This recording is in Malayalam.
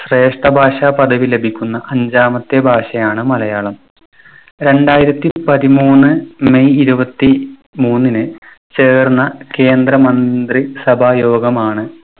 ശ്രേഷ്ഠഭാഷാ പദവി ലഭിക്കുന്ന അഞ്ചാമത്തെ ഭാഷയാണ് മലയാളം. രണ്ടായിരത്തി പതിമൂന്ന് may ഇരുപത്തിമൂന്നിന് ചേർന്ന കേന്ദ്രമന്ത്രി സഭായോഗമാണ്